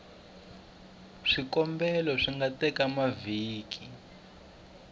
swikombelo swi nga teka mavhiki